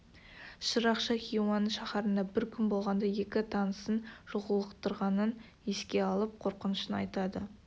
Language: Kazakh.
шырақшы хиуаның шаһарында бір күн болғанда екі танысын жолықтырғанын еске алып қорқынышын айтады